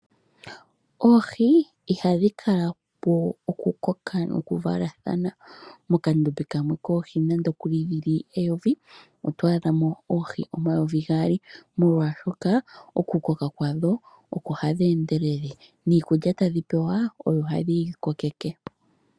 Oohi ihadhi kala po okukoka noku valathana. Mokandombe kamwe koohi nande okuli dhili eyovi, oto adha mo oohi omayovi gaali molwaashoka okukoka kwadho oko hadhi endelele niikulya tadhi pewa oyo hayi dhi kokeke.